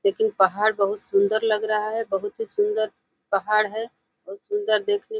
लेकिन पहाड़ बहोत सुंदर लग रहा है। बहोत ही सुंदर पहाड़ है और सुंदर देखने को --